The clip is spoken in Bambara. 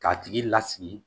K'a tigi lasigi